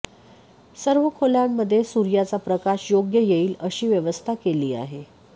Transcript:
सर्व खोल्यामध्ये सुर्याचा प्रकाश योग्य येईल अशी व्यवस्था केली आहे